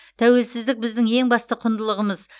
тәуелсіздік біздің ең басты құндылығымыз